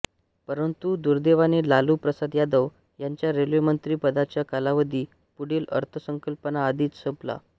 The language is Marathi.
परंतु दुर्दैवाने लालू प्रसाद यादव यांच्या रेल्वे मंत्री पदाचा कालावधी पुढील अर्थसंकल्पाआधीच संपला